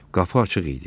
Qapı açıq idi.